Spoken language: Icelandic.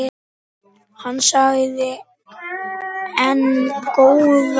Hann þagði enn góða stund.